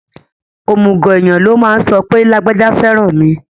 Òmùgọ̀ èèyàn ló máa ń sọ pé lágbájá fẹ́ràn mi